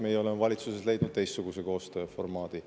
Meie oleme valitsuses leidnud teistsuguse koostööformaadi.